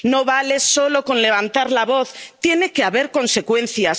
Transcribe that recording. No vale solo con levantar la voz, tiene que haber consecuencias.